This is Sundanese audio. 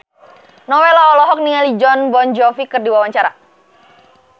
Nowela olohok ningali Jon Bon Jovi keur diwawancara